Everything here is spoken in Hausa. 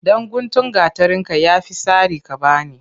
Ɗan guntun gatarin ka ya fi sari ka bani.